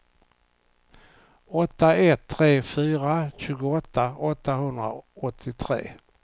åtta ett tre fyra tjugoåtta åttahundraåttiotre